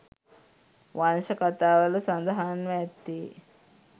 වංශ කතාවල සඳහන්ව ඇත්තේ